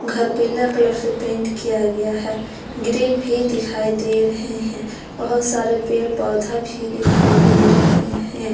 घर पीला कलर से पेंट किया गया है ग्रिल भी दिखाई दे रहे हैं बहुत सारे पेड़ पौधा भी दिखाई दे रहे हैं।